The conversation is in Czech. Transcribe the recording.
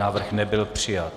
Návrh nebyl přijat.